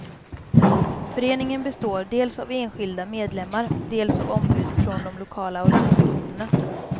Föreningen består dels av enskilda medlemmar, dels av ombud från de lokala organisationerna.